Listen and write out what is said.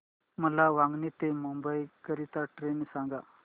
मला वांगणी ते मुंबई करीता ट्रेन सांगा